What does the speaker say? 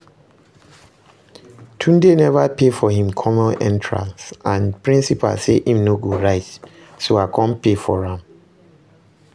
Tunde never pay for im common entrance and principal say im no go write so I come pay for am